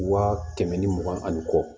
Waa kɛmɛ ni mugan ani kɔ